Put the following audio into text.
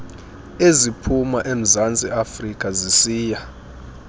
eziphuma emzantsiafrika zisiya